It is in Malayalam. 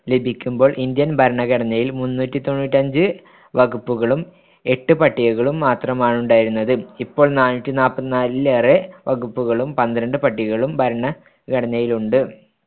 ലഭിക്കുമ്പോൾ ഇന്ത്യൻ ഭരണഘടനയിൽ മുന്നൂറ്റിതൊണ്ണൂറ്റിയഞ്ച് വകുപ്പുകളും എട്ട് പട്ടികകളും മാത്രമാണു ണ്ടായിരുന്നത്‌. ഇപ്പോൾ നാനൂറ്റിനാൽപ്പതിനാലിലേറെ വകുപ്പുകളും പന്ത്രണ്ട് പട്ടികകളും ഭരണഘടനയിലുണ്ട്‌.